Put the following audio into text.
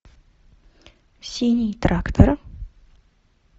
синий трактор